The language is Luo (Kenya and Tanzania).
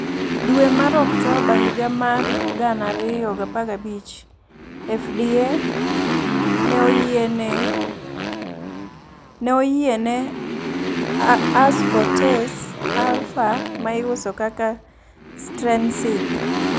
Duwe mar Oktoba higa mar 2015, FDA ne oyiene asfotase alfa, ma iuso kaka Strensiq.